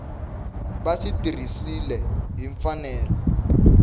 va swi tirhisiwile hi mfanelo